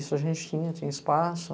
Isso a gente tinha, tinha espaço.